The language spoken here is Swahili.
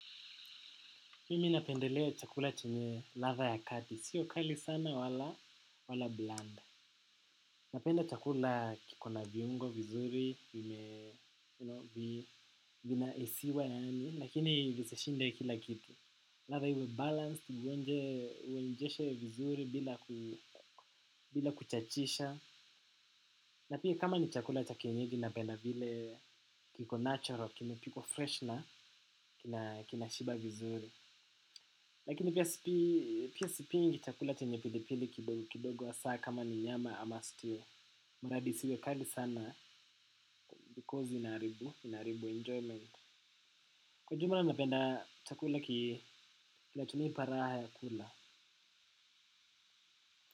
Mimi napendelea chakula chenye ladha ya kati. Sio kali sana wala blanda. Napenda chakula kiko na viungo vizuri yenye. Vina hisiwa yaani. Lakini visishinde kila kitu. Ladha iwe balanced. Uonjeshe vizuri bila kuchachisha. Na pia kama ni chakula cha kienyeji napenda vile kiko natural. Kimepikwa fresh na. Kina shiba vizuri. Lakini pia sipingi chakula chenye pilipili kidogo kidogo hasa kama ni nyama ama stew. Maradhi isiwe kali sana because inaharibu, inaharibu enjoyment. Kwa jumla napenda chakula ki, kinachonipa raha ya kula.